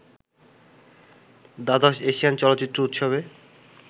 দ্বাদশ এশিয়ান চলচ্চিত্র উৎসবে